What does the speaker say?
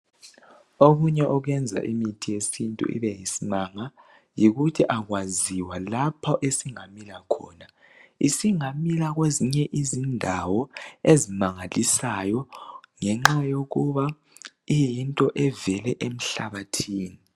Okunye okwenza imithi yesintu ibe yisimanga yikuthi akwaziwa lapho esingamila khona isingamila kwezinye izindawo ezimangalisayo ngenxa yokuba iyinto evele emhlabathini